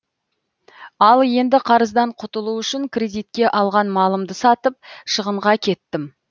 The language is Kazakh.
ал енді қарыздан құтылу үшін кредитке алған малымды сатып шығынға кеттім